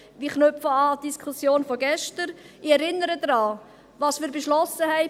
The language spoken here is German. Ich knüpfe an die gestrige Diskussion an und erinnere an das, was wir beschlossen haben: